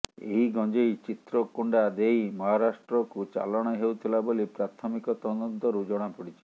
ଏହି ଗଞ୍ଜେଇ ଚିତ୍ରକୋଣ୍ଡା ଦେଇ ମହାରାଷ୍ଟ୍ରକୁ ଚାଲାଣ ହେଉଥିଲା ବୋଲି ପ୍ରାଥମିକ ତଦନ୍ତରୁ ଜଣାପଡିଛି